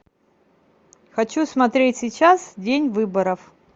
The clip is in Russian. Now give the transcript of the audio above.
хочу смотреть сейчас день выборов